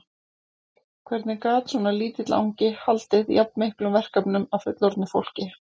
Hvernig gat svona lítill angi haldið jafn miklum verkefnum að fullorðnu fólki?